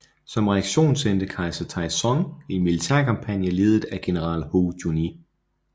Som reaktion sendte kejser Taizong en militærkampagne ledet af general Hou Junji